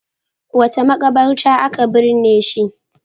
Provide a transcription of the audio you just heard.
Wace maƙabarta aka binne shi?